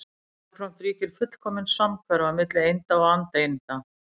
Jafnframt ríkir fullkomin samhverfa milli einda og andeinda.